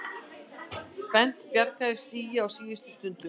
Bent bjargaði stigi á síðustu stundu